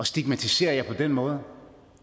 stigmatisere jer på den måde